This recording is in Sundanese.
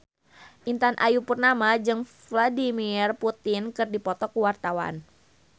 Intan Ayu Purnama jeung Vladimir Putin keur dipoto ku wartawan